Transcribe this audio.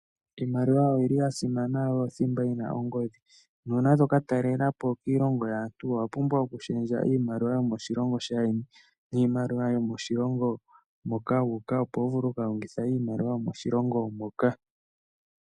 Iimaliwa oyili ya simana yo oyo thimba yina ongodhi, nuuna to katalelapo kiilongo yaantu, owa pumbwa okushendja iimaliwa yomoshilongo shaayeni, niimaliwa yomoshilongo moka wu uka, opo wuvule oku kalongitha iimaliwa yomoshilongo moka.